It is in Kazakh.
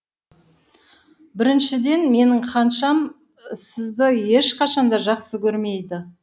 біріншіден менің ханшам сізді ешқашанда жақсы көрмейді